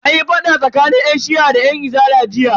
Anyi fada tsakanin yan shi'a da yan izala jiya.